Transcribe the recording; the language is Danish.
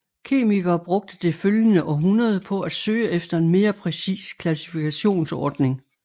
Kemikere brugte det følgende århundrede på at søge efter en mere præcis klassifikationsordning